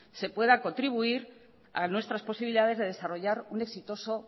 se pueda contribuir a nuestras posibilidades de desarrollar un exitoso